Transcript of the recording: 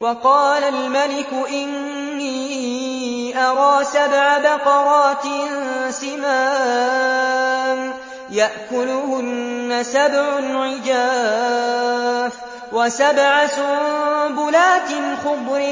وَقَالَ الْمَلِكُ إِنِّي أَرَىٰ سَبْعَ بَقَرَاتٍ سِمَانٍ يَأْكُلُهُنَّ سَبْعٌ عِجَافٌ وَسَبْعَ سُنبُلَاتٍ خُضْرٍ